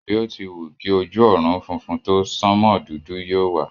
Bí o ti wù kí ojú ọ̀run funfun tó, sánmò dúdú yóò wà.